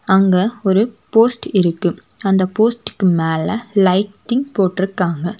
அங்க ஒரு போஸ்ட் இருக்கு அந்த போஸ்ட்க்கு மேல லைட்டிங் போற்றுக்காங்க.